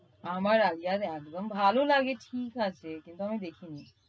আমার আলিয়ার একদম ভালো লাগে ঠিক আছে কিন্তু আমি দেখিনি।